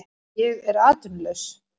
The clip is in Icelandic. Ég er atvinnulaus